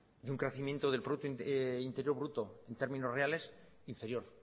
y un crecimiento del producto interior bruto en términos reales inferior